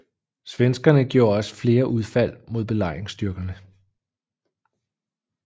Svenskerne gjorde også flere udfald mod belejringsstyrkerne